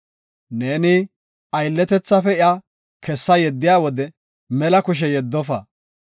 Neeni aylletethaafe iya kessa yeddiya wode mela kushe yeddofa.